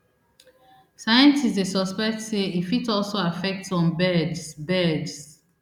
scientists dey suspect say e fit also affect some birds birds